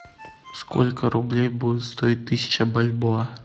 сколько рублей будет стоить тысяча бальбоа